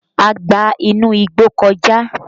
A gba inú igbó kọjá